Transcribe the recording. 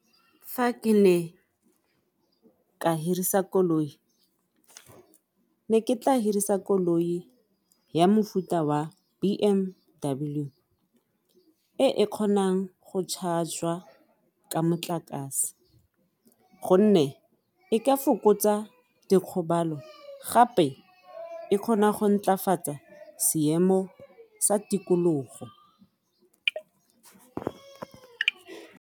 Fa ke ne ka hirisa koloi ne ke tla hirisa koloi ya mofuta wa B_M_W e e kgonang go charge-jwa ka motlakase gonne e ka fokotsa dikgobalo gape e kgona go ntlafatsa seemo sa tikologo.